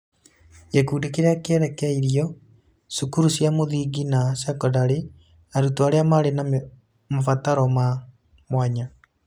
Gĩkundi kĩrĩa kĩrerekeirio: Cukuru cia mũthingi na sekondarĩ, arutwo arĩa marĩ na mabataro ma mwanya.